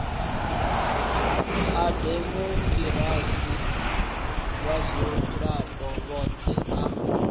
a demokirasi vhadzulapo vhoṱhe a